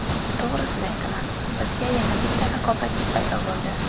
To‘g‘risini aytaman, bizga yana bitta raqobatchi paydo bo‘ldi.